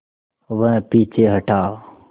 वह पीछे हटा